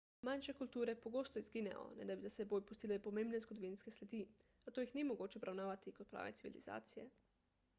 manjše kulture pogosto izginejo ne da bi za seboj pustile pomembne zgodovinske sledi zato jih ni mogoče obravnavati kot prave civilizacije